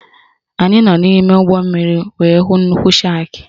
Anyị nọ n'ime ụgbọmmiri wee hụ nnukwu shakị